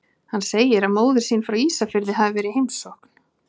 Hann segir að móðir sín frá Ísafirði hafi verið í heimsókn.